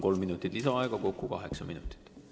Kolm minutit lisaaega, kokku kaheksa minutit.